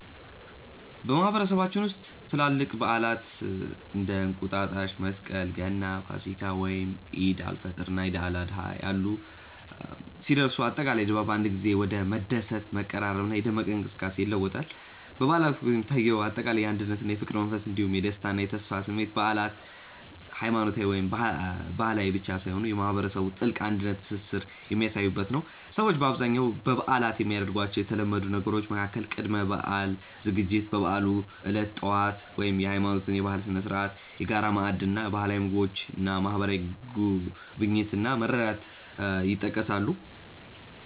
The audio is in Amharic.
በማህበረሰባችን ውስጥ ትላልቅ በዓላት (እንደ እንቁጣጣሽ፣ መስቀል፣ ገና፣ ፋሲካ፣ ወይም ዒድ አል-ፈጥር እና ዒድ አል-አድሃ ያሉ) ሲደርሱ፣ አጠቃላይ ድባቡ በአንድ ጊዜ ወደ መደሰት፣ መቀራረብና የደመቀ እንቅስቃሴ ይለወጣል። በበዓላት ወቅት የሚታየው አጠቃላይ የአንድነትና የፍቅር መንፈስ እንዲሁም የደስታና የተስፋ ስሜት በዓላት ሃይማኖታዊ ወይም ባህላዊ ብቻ ሳይሆኑ የማህበረሰቡን ጥልቅ አንድነትና ትስስር የሚያሳዩበት ነው። ሰዎች በአብዛኛው በበዓላት የሚያደርጓቸው የተለመዱ ነገሮች መካከል ቅድመ-በዓል ዝግጅት፣ የበዓሉ ዕለት ጠዋት (የሃይማኖትና የባህል ስነ-ስርዓት)፣የጋራ ማዕድ እና ባህላዊ ምግቦች እና ማህበራዊ ጉብኝት እና መረዳዳት ይጠቀሳሉ።